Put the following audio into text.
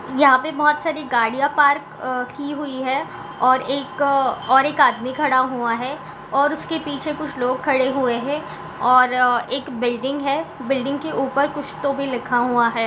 यहाँ पे बहुत सारी गाड़ियां पार्क अ की हुई है और एक और एक आदमी खड़ा हुआ है और उसके पीछे कुछ लोग खड़े हुए हैं और एक बिल्डिंग है बिल्डिंग के ऊपर कुछ तो भी लिखा हुआ हैं।